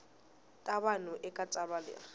ta vanhu eka tsalwa leri